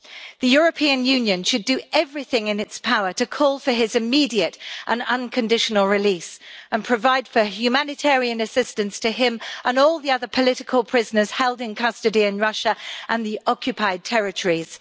The European Union should do everything in its power to call for his immediate and unconditional release and provide for humanitarian assistance to him and all the other political prisoners held in custody in Russia and the occupied territories.